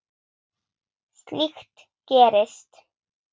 Slíkt gerist.